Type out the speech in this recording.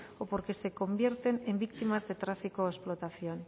o porque se convierten en víctimas de tráfico o explotación